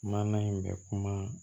Maana in bɛ kuma